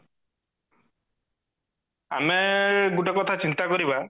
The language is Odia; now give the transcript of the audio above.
ଆମେ ଗୋଟେ କଥା ଚିନ୍ତା କରିବା